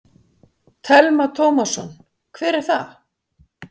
Telma Tómasson: Hver er það?